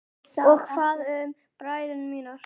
Og hvað með bræður mína?